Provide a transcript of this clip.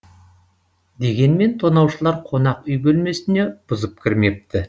дегенмен тонаушылар қонақ үй бөлмесіне бұзып кірмепті